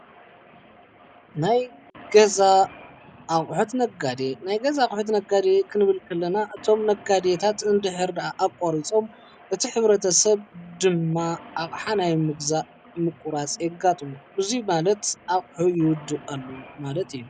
ናይ ገዛ ኣቑሑት ነጋዴ፡- ናይ ገዛ ኣቝሑት ነጋዴ ኽንብልክለና እቶም ነጋዴታት እንድሕርድኣ ኣቋሪፆም እቲ ሕብረተ ሰብ ድማ ኣቕሓ ናይ ምግዛእ ምቊራጽ የጋጥሞ እዙይ ማለት ኣቕሑ ይውድኡ ኣለው ማለት እዩ፡፡